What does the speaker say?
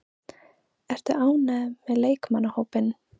Ertu ánægður með leikmannahópinn?